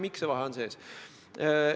Miks see vahe on sees?